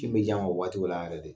kini bɛ jan ma o waati o la yɛrɛ de.